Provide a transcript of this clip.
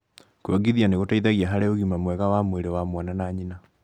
kuongithia nĩ gũteithagia harĩ ũgima mwega wa mwĩrĩ wa mwana na nyina